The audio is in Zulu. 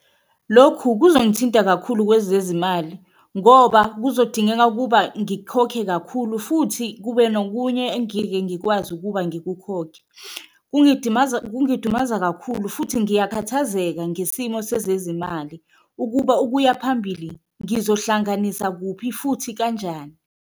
Lokhu kuzongithinta kakhulu kwezezimali ngoba kuzodingeka ukuba ngikhokhe kakhulu futhi kube nokunye engike ngikwazi ukuba ngikukhokhe, kungidumaza kakhulu futhi ngiyakhathazeka ngesimo sezezimali ukuba, ukuya phambili ngizohlanganisa kuphi futhi kanjani.